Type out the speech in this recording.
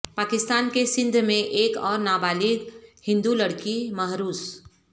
پاکستان کے سندھ میں ایک اور نابالغ ہندو لڑکی محروس